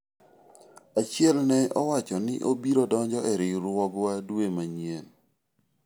achiel ne owacho ni obiro donjo e riwruogwa dwa manyien